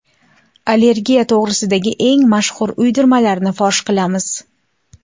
Allergiya to‘g‘risidagi eng mashhur uydirmalarni fosh qilamiz.